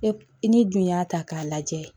E ni dun y'a ta k'a lajɛ